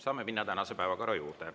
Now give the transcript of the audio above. Saame minna tänase päevakorra juurde.